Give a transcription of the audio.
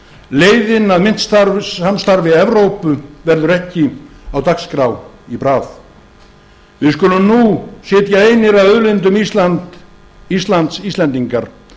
leiðin að myntsamstarfi evrópu verður ekki á dagskrá í bráð við skulum nú sitja einir að auðlindum íslands íslendingar